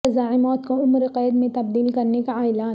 سزائے موت کو عمر قید میں تبدیل کرنے کا اعلان